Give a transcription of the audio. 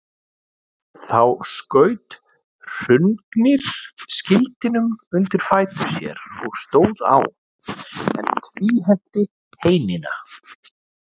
Þá skaut Hrungnir skildinum undir fætur sér og stóð á, en tvíhenti heinina.